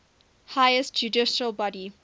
highest judicial body